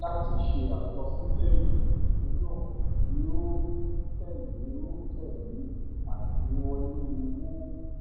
láti ṣe àkọsílè ètò ìṣúná yìí a òó tèlé òó tèlé àgbéwọlé owó